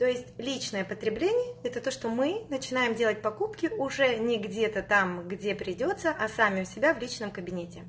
то есть личное потребление это то что мы начинаем делать покупки уже не где-то там где придётся а сами у себя в личном кабинете